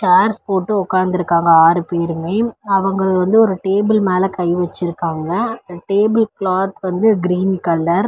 Chairs போட்டு ஒக்காந்திருக்காங்க ஆறு பேருமே அவங்க வந்து ஒரு டேபிள் மேல கை வச்சிருக்காங்க அந்த டேபிள் கிளாத் வந்து கிரீன் கலர் .